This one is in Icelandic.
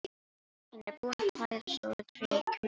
Hann er búinn að klæða stóra tréð í hvíta dúnúlpu.